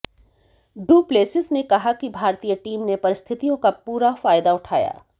do Plessis ने कहा कि भारतीय टीम ने परिस्थितियों का पूरा फायदा उठाया